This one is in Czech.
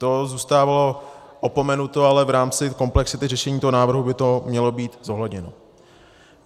To zůstávalo opomenuto, ale v rámci komplexity řešení toho návrhu by to mělo být zohledněno.